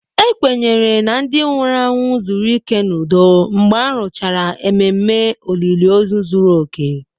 A kwenyere na ndị nwụrụ anwụ zuru ike n'udo mgbe a rụchara ememe olili ozu zuru oke